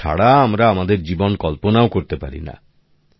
ওদের ছাড়া আমরা আমাদের জীবন কল্পনাও করতে পারি না